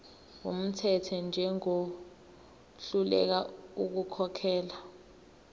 wumthetho njengohluleka ukukhokhela